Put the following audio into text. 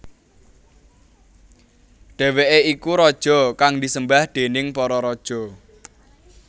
Dheweke iku raja kang disembah déning para raja